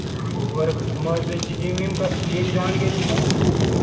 Overweight मग काय gym विम, जिम जॉईन केली काय तु?